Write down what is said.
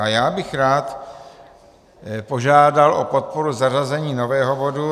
A já bych rád požádal o podporu zařazení nového bodu.